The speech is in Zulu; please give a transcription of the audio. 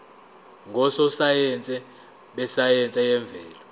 ngososayense besayense yemvelo